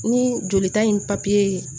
Ni jolita in